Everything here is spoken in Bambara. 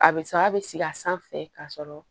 A bɛ sa a bɛ sigi a sanfɛ k'a sɔrɔ